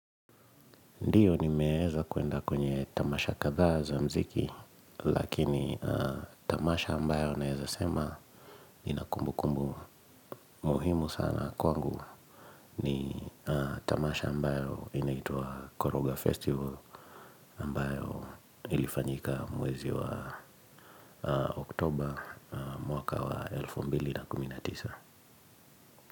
Ndiyo ni meeza kuenda kwenye tamasha kadha za mziki, lakini tamasha ambayo naeza sema inakumbu kumbu muhimu sana kwangu ni tamasha ambayo inaitwa Koroga Festival ambayo ilifanyika mwezi wa oktoba mwaka wa elfu mbili na kumi na tisa.